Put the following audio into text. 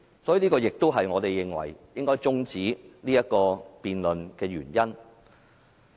所以，這亦是我們認為應該中止這項議案辯論的原因。